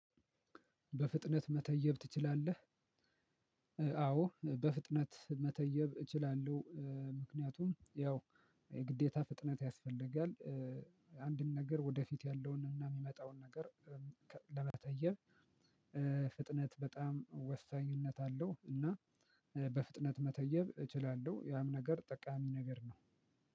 በፍጥነት መተየብ ትችላለህ? አዎ! በፍጥነት መተየብ እችላለሁ። ምክንያቱም ያው ግዴታ ፍጥነት ያስፈልጋል። አንድን ነገር ወደፊት ያለውን እና የሚመጣውን ነገር ለመተየብ ፍጥነት በጣም ወሳኝነት አለው እና በፍጥነት መተየብ እችላለሁ ያም ነገር ጠቃሚ ነገር ነው